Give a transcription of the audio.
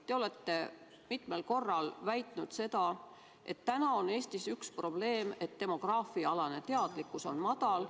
Te olete mitmel korral väitnud, et Eestis on üks probleem see, et demograafiaalane teadlikkus on madal.